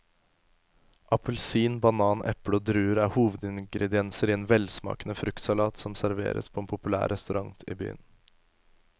Appelsin, banan, eple og druer er hovedingredienser i en velsmakende fruktsalat som serveres på en populær restaurant i byen.